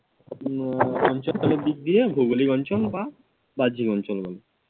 আহ অঞ্চলের দিক দিয়ে ভৌগলিক বা বাহ্যিক অঞ্চল বলা যায়।